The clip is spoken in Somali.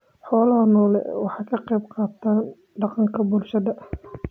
Xoolaha nooli waxa ay ka qayb qaataan dhaqanka bulshada.